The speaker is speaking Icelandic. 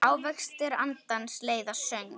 Ávextir andans leiða söng.